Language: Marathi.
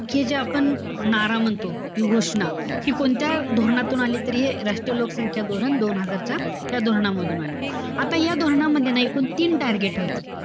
हे जे आपण नारा म्हणतो, किंवा घोषणा. हि कोणत्या धोरणातून आली तर हे राष्ट्रीय लोकसंख्या धोरण दोन हजारच्या त्या धोरणामधून आली. आता या धोरणामध्ये ना एकूण तीन target होती.